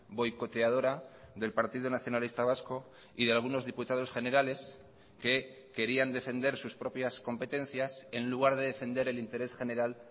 boicoteadora del partido nacionalista vasco y de algunos diputados generales que querían defender sus propias competencias en lugar de defender el interés general